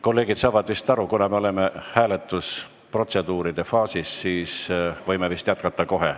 Kolleegid saavad vist aru, et kuna me oleme hääletusprotseduuride faasis, siis võime kohe jätkata.